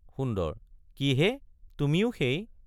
সুন্দৰ—কিহে তুমিও সেই।